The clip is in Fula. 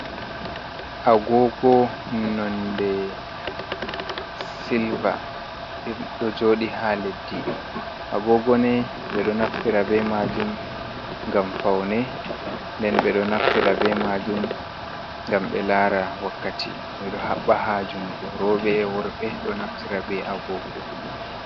Agoogo nonnde silva ɗo jooɗi haa leddi, agoogo ni, ɓe ɗo naftira be maajum ngam fawne, nden ɓe ɗo naftira be maajum ngam ɓe laara wakkati, ɓe ɗo haɓɓa haa junngo, rooɓe e worɓe ɗo naftira be agoogo.